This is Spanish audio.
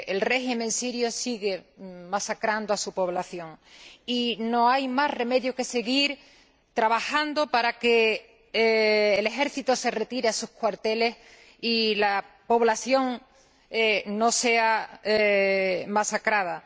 El régimen sirio sigue masacrando a su población y no hay más remedio que seguir trabajando para que el ejército se retire a sus cuarteles y la población no sea masacrada.